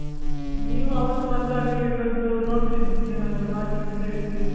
ನೀವ್ ಅವತ್ತು ಬಂದಾಗ ನೋಡ್ತೀನಿ. ಏನಾದ್ರು ಬಾಕಿ ಇದ್ರೆ ಇಡ್ತೀನಿ.